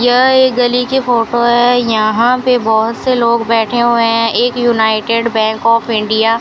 यह एक गली की फोटो है यहां पे बहोत से लोग बैठे हुए हैं एक यूनाइटेड बैंक ऑफ़ इंडिया --